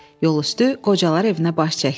Yolüstü qocalar evinə baş çəkdik.